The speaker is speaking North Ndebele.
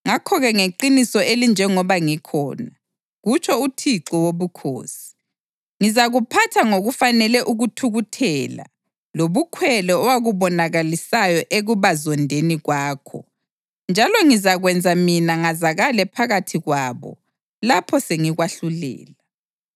Ngakho-ke ngeqiniso elinjengoba ngikhona, kutsho uThixo Wobukhosi, ngizakuphatha ngokufanele ukuthukuthela lobukhwele owakubonakalisayo ekubazondeni kwakho njalo ngizakwenza mina ngazakale phakathi kwabo lapho sengikwahlulela.